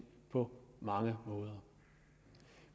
på mange måder